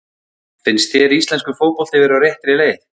Finnst þér íslenskur fótbolti vera á réttri leið?